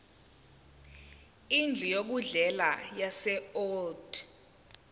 indlu yokudlela yaseold